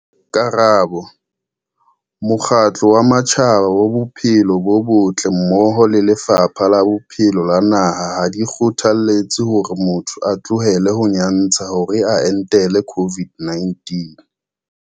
Karabo- Mokgatlo wa Matjhaba wa Bophelo bo Botle mmoho le Lefapha la Bophelo la naha ha di kgothaletse hore motho a tlohele ho nyantsha hore a entele COVID-19.